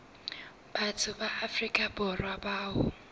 batho ba afrika borwa bao